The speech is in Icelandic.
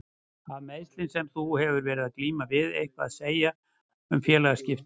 Hafa meiðslin sem að þú hefur verið að glíma við eitthvað að segja um félagsskiptin?